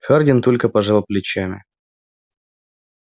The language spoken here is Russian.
хардин только пожал плечами